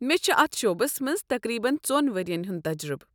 مےٚ چھُ اتھ شعبس منٛز تقریبن ژۄن ؤرین ہُنٛد تجرُبہٕ۔